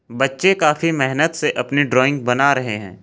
बच्चे काफी मेहनत से अपनी ड्राइंग बना रहे हैं।